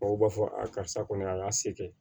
O b'a fɔ a karisa kɔni a y'a se kɛ